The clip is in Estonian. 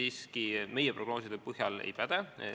Siiski see meie prognooside põhjal ei päde.